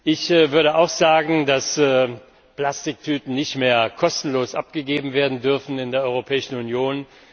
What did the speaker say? Ich würde auch sagen, dass Plastiktüten nicht mehr kostenlos abgegeben werden dürfen in der Europäischen Union.